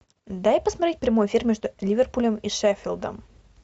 дай посмотреть прямой эфир между ливерпулем и шеффилдом